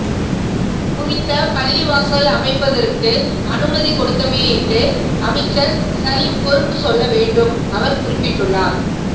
குறித்த பள்ளிவாசலை அமைப்பதற்கு அனுமதி கொடுத்தமையையிட்டு அமைச்சர் ஹலீம் பொறுப்புச் சொல்ல வேண்டும் அவர் குறிப்பிட்டுள்ளார்